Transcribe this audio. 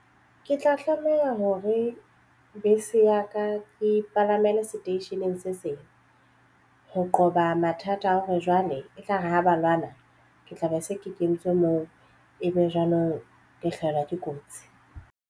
Ke tla tlameha hore bese ya ka ke palamela seteisheneng se seng ho qoba mathata a hore jwale e tlare ha ba lwana ke tla be se ke kentswe moo ebe jwanong ke hlahelwa ke kotsi.